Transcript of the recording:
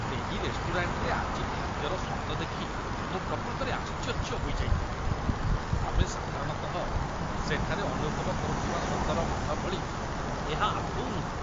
ସେହି ରେଷ୍ଟୁରାଣ୍ଟରେ ଆଜି ଖାଦ୍ୟର ସ୍ୱାଦ ଦେଖି ମୁଁ ପ୍ରକୃତରେ ଆଶ୍ଚର୍ଯ୍ୟ ହୋଇଯାଇଥିଲି। ଆମେ ସାଧାରଣତଃ ସେଠାରେ ଅନୁଭବ କରୁଥିବା ସ୍ୱାଦର ମାନ ଭଳି ଏହା ଆଦୌ ନୁହେଁ।